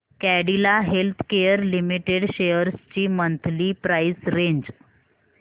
Cadila healthcare limited shares ची monthly price range